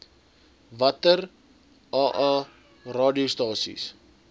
watter aa radiostasies